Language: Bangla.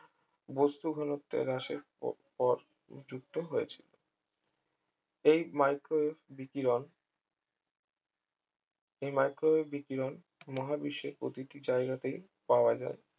বস্তুঘনত্বের হ্রাসের পর যুক্ত হয়েছিল এই micro wave বিকিরণ এই micro wave বিকিরণ মহাবিশ্বের প্রতিটি জায়গাতেই পাওয়া যায়